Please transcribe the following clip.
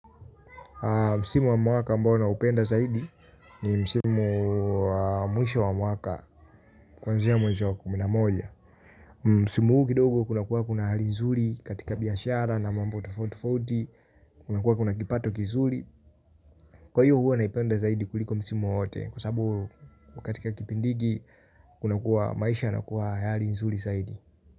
Msimu wa mwaka ambao naupenda zaidi, ni msimu wa mwisho wa mwaka kuanzia mwenzi wa kumi na moja. Msimu huu kidogo kunakuwa kuna hali nzuri katika biashara na mambo tofauti tofauti kuna kuwa kuna kipato kizuri. Kwa hiyo huwa naipenda zaidi kuliko msimu wowote kwasabu katika kipindi hiki kuna kuwa maisha yanakuwa ya hali nzuri zaidi.